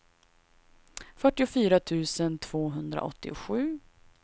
fyrtiofyra tusen tvåhundraåttiosju